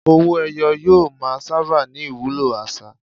Owó-ẹyọ yóò máa sábà ní ìwúlò àṣà.